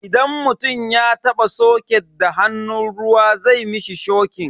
Idan mutum ya taba soket da hannun ruwa zai mishi shokin.